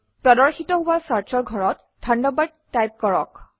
প্ৰদৰ্শিত হোৱা Search অৰ ঘৰত থাণ্ডাৰবাৰ্ড টাইপ কৰক